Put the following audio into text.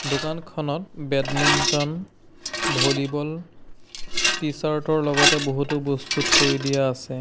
দোকানখনত badminton volleyball T-shirt ৰ লগতে বহুতো বস্তু থৈ দিয়া আছে।